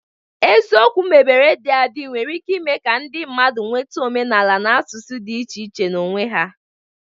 Eziokwu mebere dị adị nwere ike ime ka ndị mmadụ nweta omenala na asụsụ dị iche iche n'onwe ha